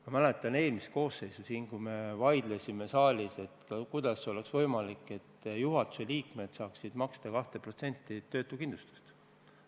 Ma mäletan eelmist koosseisu, kui me siin saalis vaidlesime, kuidas oleks võimalik, et juhatuse liikmed saaksid maksta 2% töötuskindlustusmakset.